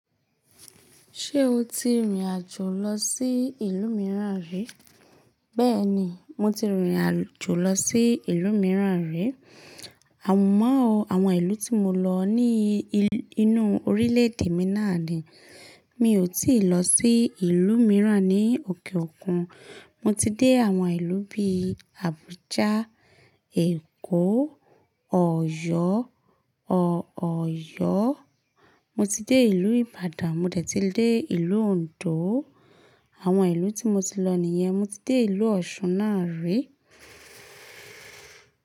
Ṣé o ti rìn àjò lọ sí ìlú mìíràn rí? Bẹ́ẹ̀ni, mo ti rìnrìn àjò lọ sí ìlú mìíràn rí. Àmúmò o àwọn ìlú tí mo lọ ní inú orílẹ̀ èdè mi náà ni. Mi ò tíì lọ sí ìlú mìíràn ní òkè òkun. Mo ti dé àwọn ìlú bí i Abuja, Èkó, Ọ̀yọ́, Ọ̀yọ́. Mo ti dé ìlú Ìbàdàn, mo dẹ̀ tí dé ìlú Òǹdó. Àwọn ìlú tí mo ti lọ nìyẹn, mo ti dé ìlú Ọ̀ṣun náà rí.